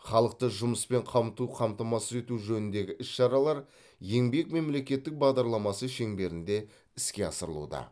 халықты жұмыспен қамту қамтамасыз ету жөніндегі іс шаралар еңбек мемлекеттік бағдарламасы шеңберінде іске асырылуда